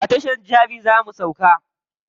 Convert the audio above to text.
A tashar jabi za mu sauka.